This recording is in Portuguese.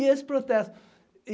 E esse protesto.